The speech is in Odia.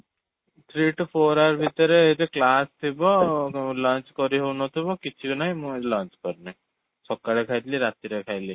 three to four hour ଭିତରେ ଏତେ class ଥିବ, lunch କରି ହଉନଥିବ, କିଛି ନାହିଁ, ମୁଁ ଆଜି lunch କରିନି, ସକାଳେ ଖାଇଥିଲି, ରାତିରେ ଖାଇବି